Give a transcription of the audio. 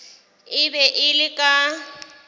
e be e le ka